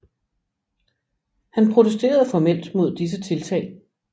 Han protesterede formelt mod disse tiltag